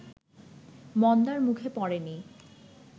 মন্দার মুখে পড়েনি